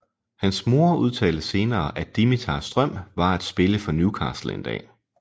Hans mor udtalte senere at Dimitars drøm var at spille for Newcastle en dag